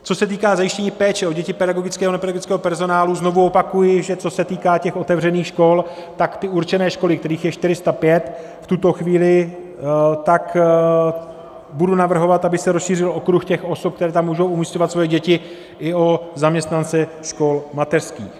Co se týká zajištění péče o děti pedagogického a nepedagogického personálu, znovu opakuji, že co se týká těch otevřených škol, tak ty určené školy, kterých je 405 v tuto chvíli, tak budu navrhovat, aby se rozšířil okruh těch osob, které tam můžou umísťovat svoje děti, i o zaměstnance škol mateřských.